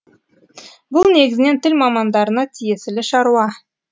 бұл негізінен тіл мамандарына тиесілі шаруа